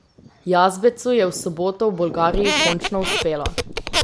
Jazbecu je v soboto v Bolgariji končno uspelo.